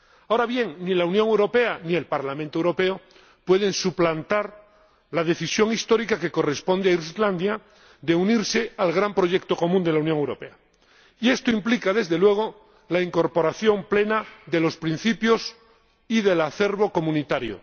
Ahora bien, ni la Unión Europea ni el Parlamento Europeo pueden suplantar la decisión histórica que corresponde a Islandia de unirse al gran proyecto común de la Unión Europea, y esto implica, desde luego, la incorporación plena de los principios y del acervo comunitario.